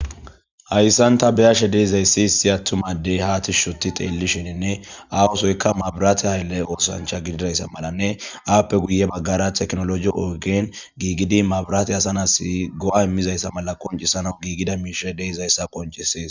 hayssanta beyashe deizayssi issi attumadey haa tishshoti xeellishininne awosoykka mabiraate haylle oosancha gididayssa malanne aappe guye baggara teknoloji ogen giigidi mabiraate asanas go7a immizayssa mala qoncisana giigida miisha deizayssa qoncisees